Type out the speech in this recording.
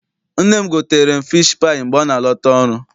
Nne m gotere m fishi paayị mgbe ọ na-ala ta ọrụ.